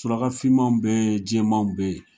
Surakafinmanw bɛ yen jɛmanw bɛ yen